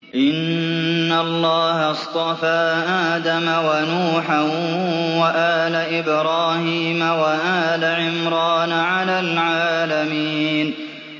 ۞ إِنَّ اللَّهَ اصْطَفَىٰ آدَمَ وَنُوحًا وَآلَ إِبْرَاهِيمَ وَآلَ عِمْرَانَ عَلَى الْعَالَمِينَ